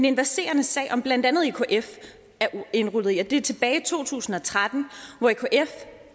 en verserende sag som blandt andet ekf er indrulleret i tilbage i to tusind og tretten hvor ekf